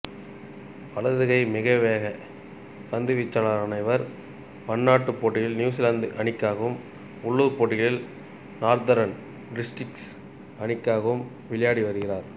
வலதுகை மிதவேகப் பந்துவீச்சாளரான இவர் பன்னாட்டுப் போட்டிகளில் நியூசிலாந்து அணிக்காகவும் உள்ளூர்ப் போட்டிகளில் நார்த்தர்ன் டிஸ்ட்ரிக்ஸ் அணிக்காகவும் விளையாடி வருகிறார்